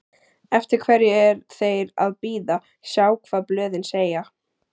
Eftir hverju er þeir að bíða, sjá hvað blöðin segja?